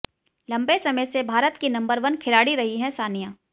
लंबे समय से भारत की नंबर वन खिलाड़ी रही हैं सानिया